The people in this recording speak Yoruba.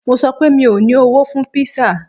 Mo sọ pé, mi ò ní owó fún kpísà